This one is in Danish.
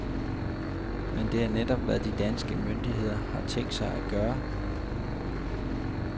Men det er netop, hvad de danske myndigheder har tænkt sig at gøre.